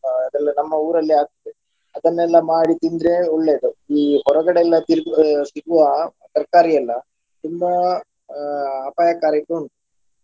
ಅದೆಲ್ಲಾ ನಮ್ಮ ಊರಲ್ಲೇ ಆಗ್ತದೆ ಅದನ್ನೆಲ್ಲ ಮಾಡಿ ತಿಂದ್ರೆ ಒಳ್ಳೆಯದು ಈ ಹೊರಗಡೆ ಎಲ್ಲ ತಿಂದ್ ಸಿಗುವ ತರಕಾರಿಯೆಲ್ಲಾ ತುಂಬಾ ಅಹ್ ಅಪಾಯಕಾರಿ ಉಂಟು.